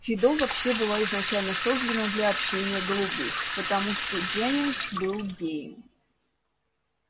фидо вообще была изначально создана для общения голубых потому что дженнингс был геем